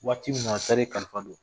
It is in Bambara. Waati mina sali kalifalen